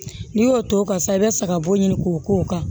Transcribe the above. N'i y'o t'o kan sisan i bɛ sagabɔ ɲini k'o k'o kan